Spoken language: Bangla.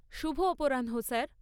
শুভ অপরাহ্ন, স্যার!